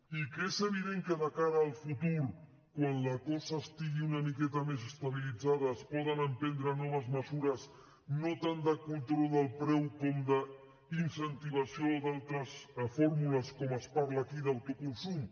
i que és evident que de cara al futur quan la cosa estigui una miqueta més estabilitzada es poden emprendre noves mesures no tant de control del preu com d’incentivació d’altres fórmules com es parla aquí d’autoconsum